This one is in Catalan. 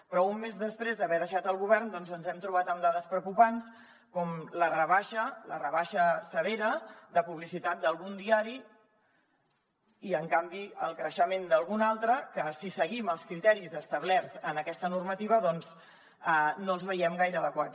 però un mes després d’haver deixat el govern ens hem trobat amb dades preocupants com la rebaixa severa de publicitat d’algun diari i en canvi el creixement d’algun altre que si seguim els criteris establerts en aquesta normativa no el veiem gaire adequat